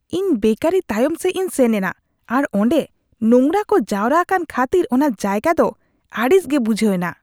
ᱤᱧ ᱵᱮᱠᱟᱨᱤ ᱛᱟᱭᱚᱢ ᱥᱮᱡᱽ ᱤᱧ ᱥᱮᱱ ᱮᱱᱟ ᱟᱨ ᱚᱰᱮ ᱱᱳᱝᱨᱟ ᱠᱚ ᱡᱟᱣᱨᱟ ᱟᱠᱟᱱ ᱠᱷᱟᱹᱛᱤᱨ ᱚᱱᱟ ᱡᱟᱭᱜᱟ ᱫᱚ ᱟᱹᱲᱤᱥ ᱜᱮ ᱵᱩᱡᱷᱟᱹᱣ ᱮᱱᱟ ᱾